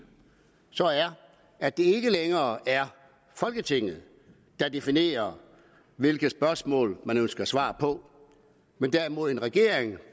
er at det ikke længere er folketinget der definerer hvilke spørgsmål man ønsker svar på men derimod regeringen